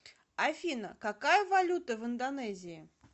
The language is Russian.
афина какая валюта в индонезии